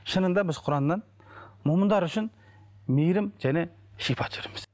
шынында біз құраннан мүминдер үшін мейірім және шипа түсіреміз